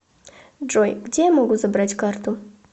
джой где я могу забрать карту